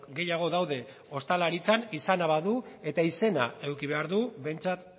gehiago daude ostalaritzan izana badu eta izena eduki behar du behintzat